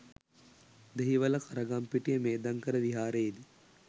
Dehiwala Karagampitiya Medhankara විහාරයේදී